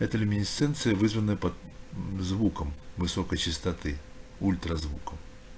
эта люминисценция вызванная под звуком высокой частоты ультразвуком